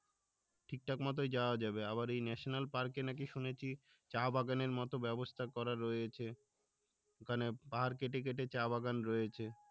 ঠিকঠাক মতোই যাওয়া যাবে আবার এই national park এ নাকি শুনেছি চা বাগানের মতো ব্যবস্থা করা রয়েছে ওখানে পাহাড় কেটে কেটে চা বাগান রয়েছে